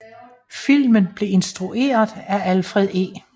Filmen blev instrueret af Alfred E